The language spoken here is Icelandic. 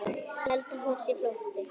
Held að hún sé flótti.